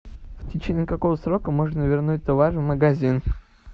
в течении какого срока можно вернуть товар в магазин